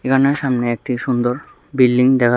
সামনে একটি সুন্দর বিল্ডিং দেখা--